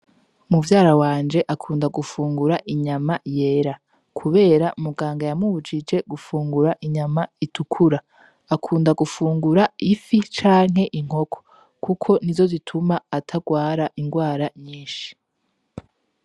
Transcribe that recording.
Muvyara wanje akunda gufungura inyama yera, kubera muganga yamubujije gufungura inyama itukura akunda gufungura ifi canke inkoko, kuko ni zo zituma atarwara ingwara nyinshi.